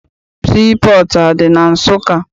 Sii pọọtụ adị na Nsụka?